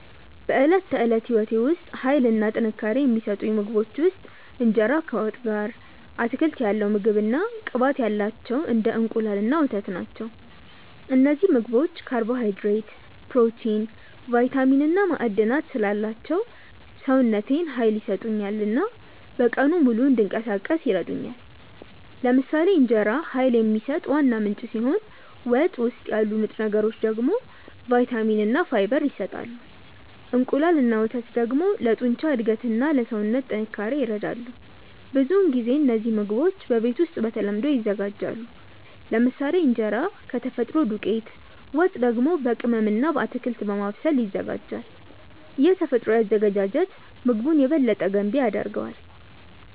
በዕለት ተዕለት ሕይወቴ ውስጥ ኃይል እና ጥንካሬ የሚሰጡኝ ምግቦች ውስጥ እንጀራ ከወጥ ጋር፣ አትክልት ያለው ምግብ እና ቅባት ያላቸው እንደ እንቁላል እና ወተት ናቸው። እነዚህ ምግቦች ካርቦሃይድሬት፣ ፕሮቲን፣ ቫይታሚን እና ማዕድናት ስላላቸው ሰውነቴን ኃይል ይሰጡኛል እና በቀኑ ሙሉ እንዲንቀሳቀስ ይረዱኛል። ለምሳሌ እንጀራ ኃይል የሚሰጥ ዋና ምንጭ ሲሆን ወጥ ውስጥ ያሉ ንጥረ ነገሮች ደግሞ ቫይታሚን እና ፋይበር ይሰጣሉ። እንቁላል እና ወተት ደግሞ ለጡንቻ እድገት እና ለሰውነት ጥንካሬ ይረዳሉ። ብዙውን ጊዜ እነዚህ ምግቦች በቤት ውስጥ በተለምዶ ይዘጋጃሉ፤ ለምሳሌ እንጀራ ከተፈጥሮ ዱቄት፣ ወጥ ደግሞ በቅመም እና በአትክልት በማብሰል ይዘጋጃል። ይህ ተፈጥሯዊ አዘገጃጀት ምግቡን የበለጠ ገንቢ ያደርገዋል።